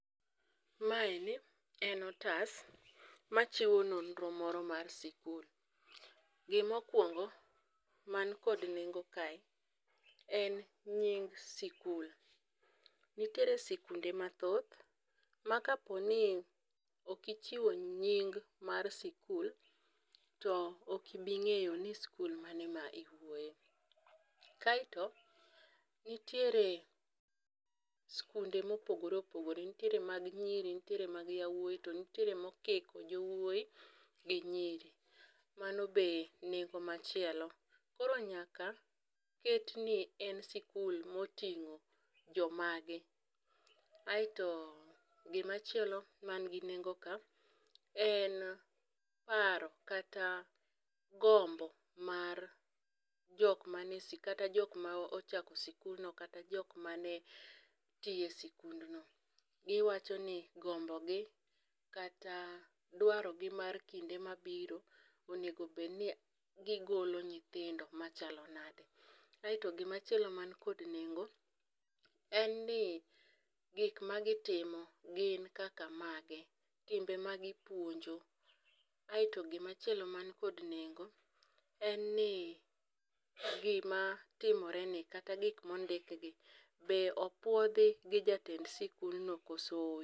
Maeni en otas machiwo nonro moro mar sikul, gimokwongo, mankod nengo kae en nying sikul, nitiere sikunde mathoth ma kaponi ok ichiwo nying mar sikul, to ok ibi ng'eyo ni skul mane ma iwuoye, kaeto nitiere skunde mopogore opogore. Nitiere mag nyiri to nitiere mag yawuoyi, to nitiere mokiko jowuoyi gi nyiri, mano be nengo machielo. koro nyaka ketni en sikul oting'o jomage, aeto gimachielo manigi nengo ka en paro kata gombo mar jok mane ochako sikulno kata jok mane tiye sikundno. Giwachoni gombo gi kata dwarogi mar kinde mabiro onego obedni gigolo nyithindo machalo nade, aeto gimachielo man kod nengo en ni gik magitimo gin kaka mage, timbe magipuonjo, aeto gimachielo man kod nengo en ni gimatimoreni kata gik mondikgi be opuodhi gi jatend sikundno koso